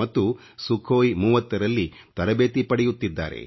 ಮತ್ತು Suಞhoi30 ರಲ್ಲಿ ತರಬೇತಿ ಪಡೆಯುತ್ತಿದ್ದಾರೆ